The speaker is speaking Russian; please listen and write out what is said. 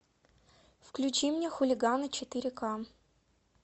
включи мне хулиганы четыре ка